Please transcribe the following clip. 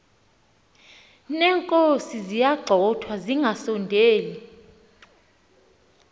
neenkozi ziyagxothwa zingasondeli